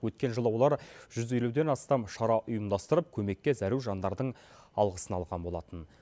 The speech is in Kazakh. өткен жылы олар жүз елуден астам шара ұйымдастырып көмекке зәру жандардың алғысын алған болатын